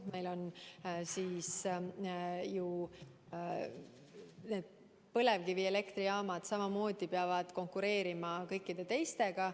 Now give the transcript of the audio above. Meil on põlevkivielektrijaamad, mis peavad konkureerima kõikide teistega.